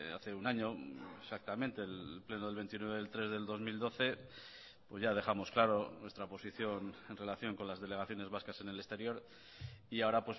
hace un año exactamente el pleno del veintinueve del tres del dos mil doce pues ya dejamos claro nuestra posición en relación con las delegaciones vascas en el exterior y ahora